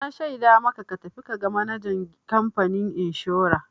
Na shaida maka ka tafi ka ga manajan kamfanin inshora!